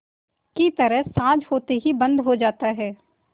की तरह साँझ होते ही बंद हो जाता है